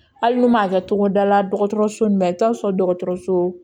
Hali n'u m'a kɛ togoda la dɔgɔtɔrɔso in na i bɛ taa sɔrɔ dɔgɔtɔrɔso